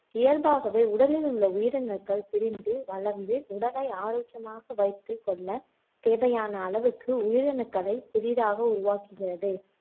இயல்பாகவே உடலில் உள்ள உயிரணுக்கள் பிரிந்து வளர்ந்து உடலை ஆரோக்கியமாக வைத்துக்கொள்ள தேவையான அளவுக்கு உயிரணுக்களை புதிதாக உருவாக்குகிறது.